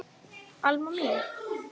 Alma mín.